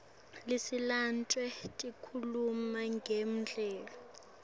sinaletinye tikhuluma ngemdlalo